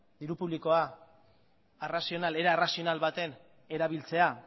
era arrazional baten erabiltzea